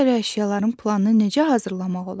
Ayrı-ayrı əşyaların planını necə hazırlamaq olar?